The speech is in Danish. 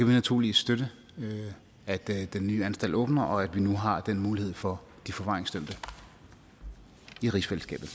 vi naturligvis støtte at den nye anstalt åbner og at vi nu har den mulighed for de forvaringsdømte i rigsfællesskabet